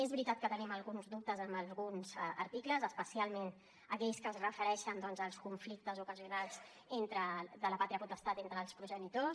és veritat que tenim alguns dubtes en alguns articles especialment aquells que es refereixen doncs als conflictes ocasionals de la pàtria potestat entre els progenitors